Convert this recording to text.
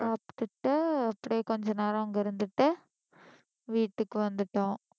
சாப்பிட்டுட்டு அப்படியே கொஞ்ச நேரம் அங்க இருந்துட்டு வீட்டுக்கு வந்துட்டோம்